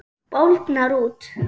Bólgnar út.